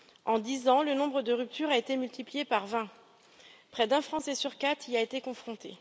En dix ans, le nombre de ruptures a été multiplié par 20 et près d'un Français sur quatre y a été confronté.